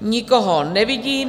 Nikoho nevidím.